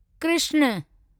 Krishna